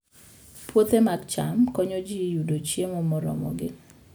Puothe mag cham konyo ji yudo chiemo moromogi